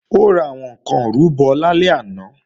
Ó ra àwọn ǹkan ìrúbọ lálẹ́ àná